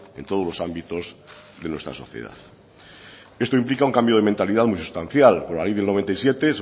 en todos los ámbitos de nuestra sociedad esto implica un cambio de mentalidad muy sustancial por la ley del noventa y siete